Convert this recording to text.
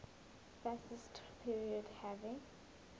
fascist period having